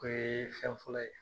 O ye fɛn fɔlɔ ye